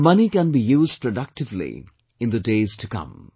The money can be used productively in the days to come